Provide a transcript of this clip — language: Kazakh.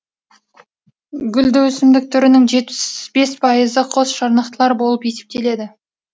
гүлді өсімдік түрінің жетпіс бес пайызы қос жарнақтылар болып есептеледі